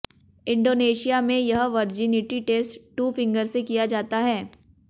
Indonesia में यह virginity test two finger से किया जाता है